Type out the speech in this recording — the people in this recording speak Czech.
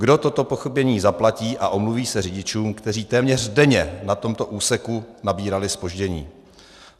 Kdo toto pochybení zaplatí a omluví se řidičům, kteří téměř denně na tomto úseku nabírali zpoždění?